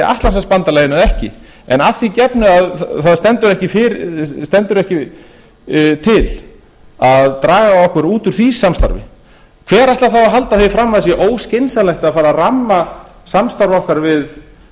vera í atlantshafsbandalaginu eða ekki en að því gefnu að það stendur ekki til að draga okkur út úr því samstarfi hver ætlar þá að halda því fram að það sé óskynsamlegt að fara að ramma samstarf okkar